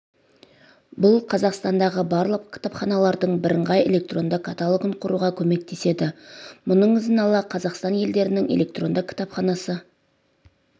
бұл қазақстандағы барлық кітапханалардың бірыңғай электронды каталогын құруға көмектеседі мұның ізін ала қазақстан елдерінің электронды кітапханасы